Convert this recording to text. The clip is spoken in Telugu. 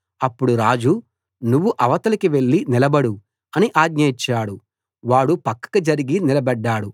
అప్పుడు రాజు నువ్వు అవతలికి వెళ్లి నిలబడు అని ఆజ్ఞ ఇచ్చాడు వాడు పక్కకు జరిగి నిలబడ్డాడు